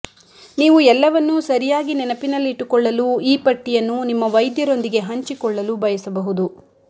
ನೀವು ಎಲ್ಲವನ್ನೂ ಸರಿಯಾಗಿ ನೆನಪಿನಲ್ಲಿಟ್ಟುಕೊಳ್ಳಲು ಈ ಪಟ್ಟಿಯನ್ನು ನಿಮ್ಮ ವೈದ್ಯರೊಂದಿಗೆ ಹಂಚಿಕೊಳ್ಳಲು ಬಯಸಬಹುದು